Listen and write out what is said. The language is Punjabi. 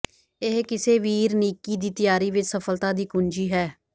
ਇਹ ਕਿਸੇ ਵੀਰਨੀਕੀ ਦੀ ਤਿਆਰੀ ਵਿਚ ਸਫਲਤਾ ਦੀ ਕੁੰਜੀ ਹੈ